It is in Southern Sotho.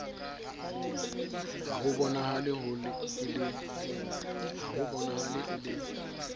ha ho bonahale e le